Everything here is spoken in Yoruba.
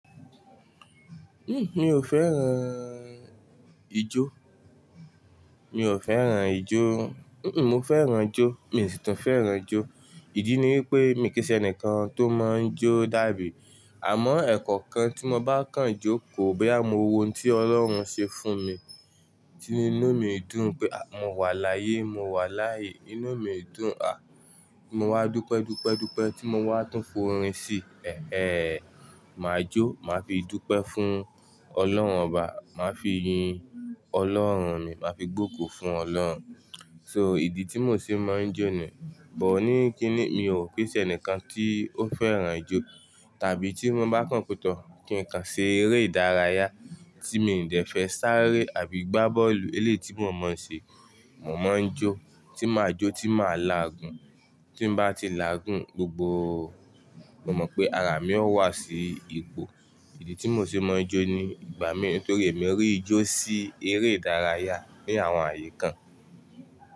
Mi o fẹ́ràn ijó. Mi ò fẹ́ràn ijó. Mo fẹ́ràn ijó. Mi sì tún fẹ́ràn ijó. Ìdí ni wípé mi kì í ṣe ẹnìkan tó máa ń jó dàbí. Àmọ́ ẹ̀kọ́okan tí mo bá kan jókò boyà mọ́ wo ohun tí Ọlọ́run ṣe fún mi, tí inú mi dùn pé a mo wà láyé, mo wà láàyè. Inú mi dùn, à mo wá dúpẹ́, dúpẹ́, dúpẹ́ tí mo wá tún forín sí. Ẹ̀ẹ́, mà jó, màá fi dúpẹ́ fún Ọlọ́run obà, màá fi yin Ọlọ́run mi, màá fi gbògò fún Ọlọ́run. So ìdí tí mò ṣe máa ń jó niyen. But ni kíni mi ò kí í ṣe ẹnìkan tí ó fẹ́ràn ijó. Tàbí tí mo bá kan pe tọ́ kí n kan ṣe eré ìdárayá tí mi dẹ̀ fẹ́ sáré àbí gbá bọ́ọ̀lù eléyi tí mò mọ̀ ṣe. Mò máa ń jó, tí màá jó tí màá làágùn, tí n bá ti làágùn gbogbo, mo mọ̀ pé ara mi ó wà sí ipò. Ìdí tí mò ṣe máa ń jó ni, ìgbà mí nítorí èmi rí ijó sí eré ìdárayá ní àwọn ààyè kan.